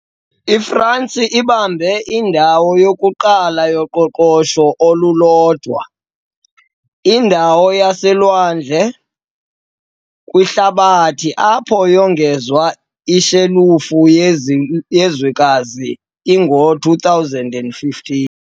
IFransi ibambe indawo yokuqala yoqoqosho olulodwa, indawo yaselwandle, kwihlabathi, apho yongezwa ishelufu yezwekazi i ngo-2015 .